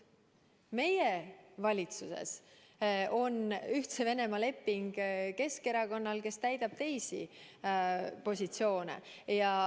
Meie valitsuses on Ühtse Venemaaga leping Keskerakonnal, kes täidab teisi positsioone.